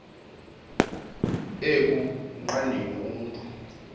eku nqandeni umntu